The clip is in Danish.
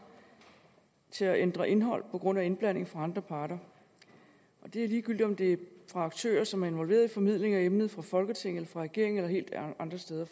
til at ændre indhold på grund af indblanding fra andre parter og det er ligegyldigt om det er fra aktører som er involveret i formidling af emnet fra folketinget eller fra regeringen eller helt andre steder